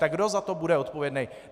Tak kdo za to bude odpovědný?